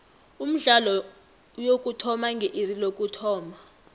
umdlalo uyokuthoma nge iri lokuthoma